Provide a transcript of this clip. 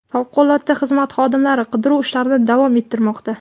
Favqulodda xizmat xodimlari qidiruv ishlarini davom ettirmoqda.